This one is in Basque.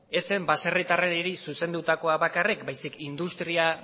ez zen baserritarrei zuzendutakoa bakarrik baizik eta industria